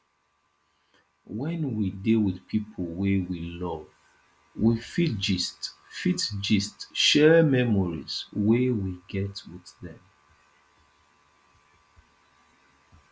when we dey with pipo wey we love we fit gist fit gist share memories wey we get with them